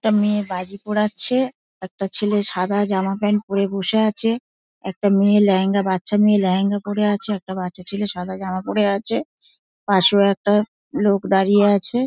একটা মেয়ে বাজি পোড়াচ্ছে একটা ছেলে সাদা জামা প্যান্ট পরে বসে আছে একটা মেয়ে লেহেঙ্গা বাচ্চা মেয়ে লেহেঙ্গা পরে আছে একটা বাচ্চা ছেলে সাদা জামা পরে আছে পাশেও একটা লোক দাঁড়িয়ে আছে |